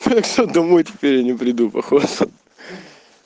так что домой теперь я не приду походу